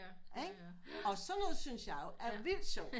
Ikke og sådan noget syntes jeg jo er vildt sjovt